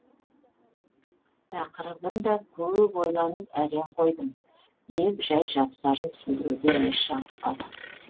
тақырыбын да көп ойланып әрең қойдым деп жай жапсарын түсіндіруден еш жалықпады